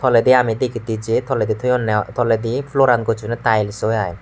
toledi ami degitte j toledi thoyunne toledi floor an gochunne tiles oy aai.